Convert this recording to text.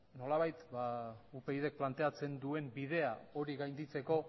nolabait upydk planteatzen duen bidea hori gainditzeko